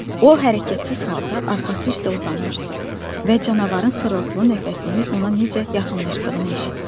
O hərəkətsiz halda arxası üstə uzanmışdı və canavarın xırıltılı nəfəsinin ona necə yaxınlaşdığını eşitdi.